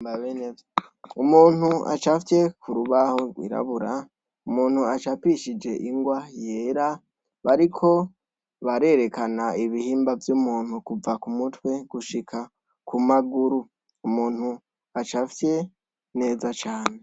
Umuntu acafye kurubaho rwirabura umuntu acapishije ingwa yera bariko barerekana ibihimba vyumuntu kuva kumutwe gushika kumaguru umuntu acafye neza cane